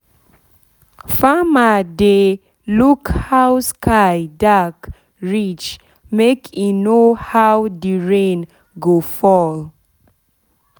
farmer dey look how sky dark reach make e know how the rain go fall